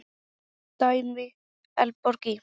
Dæmi: Eldborg í